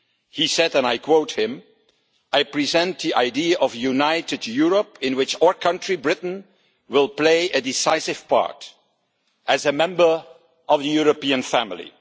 He said, and I quote him I present the idea of a united Europe in which our country, Britain, will play a decisive part as a member of the European family'.